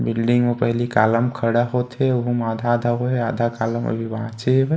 building में पहले column खड़ा होथे उमै आधा-आधा होये आधा कॉलम अभी बाचे हवे |--